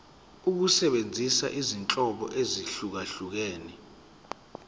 ukusebenzisa izinhlobo ezahlukehlukene